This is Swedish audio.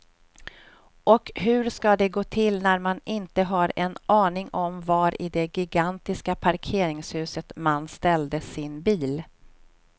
Och hur ska det gå till när man inte har en aning om var i det gigantiska parkeringshuset man ställde sin bil.